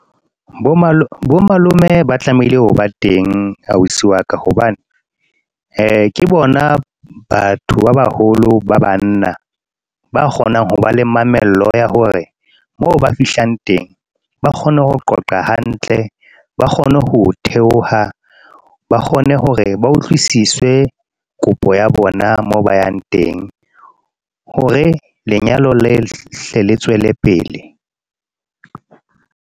Bo malome ba tlamehile ho ba teng ausi wa ka, hobane ke bona batho ba baholo ba banna, ba kgonang ho ba le mamello ya hore mo ba fihlang teng ba kgone ho qoqa hantle, ba kgone ho theoha. Ba kgone hore ba utlwisiswe kopo ya bona moo ba yang teng hore lenyalo le hle le tswele pele.